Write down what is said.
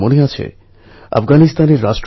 তাহলে প্রাকৃতিক ভারসাম্য বজায় থাকবে